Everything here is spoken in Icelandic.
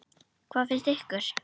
Hvað finnst ykkur?